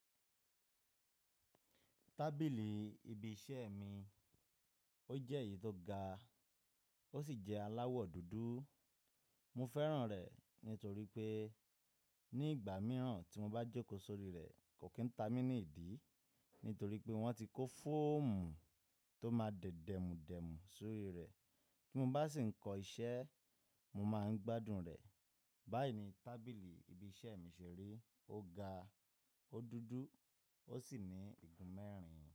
Tábìlì ibi iṣẹ́ mi ó jẹ́ èyí tó ga ó sì jẹ́ aláwọ̀ dúdú. Mó fẹ́ràn rẹ̀ nítorí pé ní ìgbà mìíràn tí mo bá jókòó sórí rẹ̀ kò kí n ta mí ní ìdí, nítorí pé wọ́n ti kó fọ́ọ̀mù tó máa dẹ̀dẹ̀mùdẹ̀mù sórí rẹ̀. Ti mo bá sì ń kọ iṣẹ́, mo máa ń gbádùn rẹ̀. Báyìí ni tábìlì ibi iṣẹ́ mi ṣèri, ó ga, ó dúdú ó sì ní igun mẹ́rin.